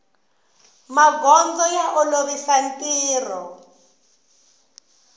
magondzo ya olovisa ntirho